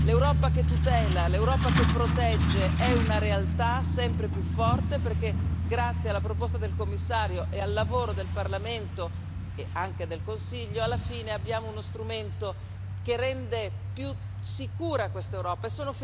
L'Europa che tutela, l'Europa che protegge è una realtà sempre più forte, perché grazie alla proposta del Commissario e al lavoro del Parlamento, e anche del Consiglio, alla fine abbiamo uno strumento che rende più sicura questa Europa.